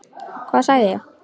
Hvað sagði ég?